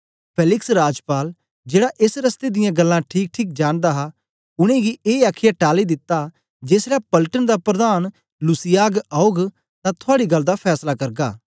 Felix राजपाल जेड़ा एस रस्ते दियां गल्लां ठीकठीक जानदा हा उनेंगी ए आखीयै टाली दिता जेसलै पलटन दा प्रधान लूसियास औग तां थुआड़ी गल्ल दा फैसला करगा